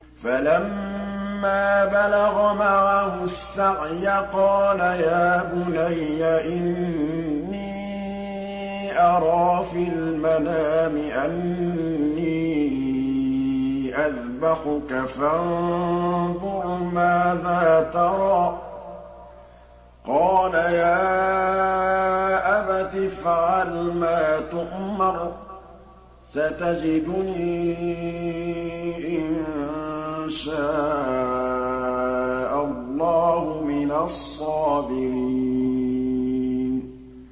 فَلَمَّا بَلَغَ مَعَهُ السَّعْيَ قَالَ يَا بُنَيَّ إِنِّي أَرَىٰ فِي الْمَنَامِ أَنِّي أَذْبَحُكَ فَانظُرْ مَاذَا تَرَىٰ ۚ قَالَ يَا أَبَتِ افْعَلْ مَا تُؤْمَرُ ۖ سَتَجِدُنِي إِن شَاءَ اللَّهُ مِنَ الصَّابِرِينَ